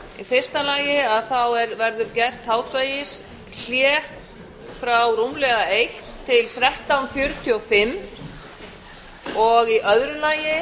í fyrsta lagi verður gert hádegishlé frá rúmlega eitt til þrettán fjörutíu og fimm og í öðru lagi